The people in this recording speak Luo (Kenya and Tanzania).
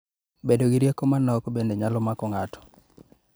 bedo gi rieko ma nok bende nyalo mako ng'ato